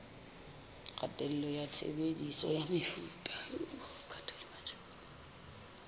kgatello ya tshebediso ya mefuta